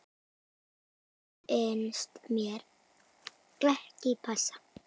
Það finnst mér ekki passa.